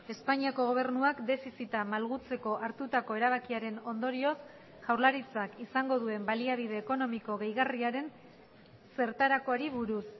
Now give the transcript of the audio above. espainiako gobernuak defizita malgutzeko hartutako erabakiaren ondorioz jaurlaritzak izango duen baliabide ekonomiko gehigarriaren zertarakoari buruz